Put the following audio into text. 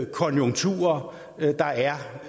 konjunkturer